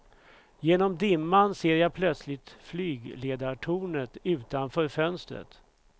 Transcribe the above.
Genom dimman ser jag plötsligt flygledartornet utanför fönstret.